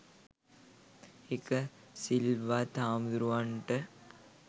ඒක සිල්වත් හාමුදුරුවන්ට